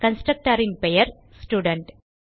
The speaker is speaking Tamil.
constructorன் பெயர் ஸ்டூடென்ட்